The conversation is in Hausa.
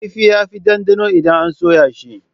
Kifi yafi ɗanɗano idan an soya shi.